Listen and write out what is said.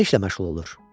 Nə işlə məşğul olur?